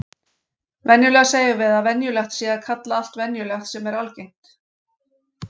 Venjulega segjum við að venjulegt sé að kalla allt venjulegt sem er algengt.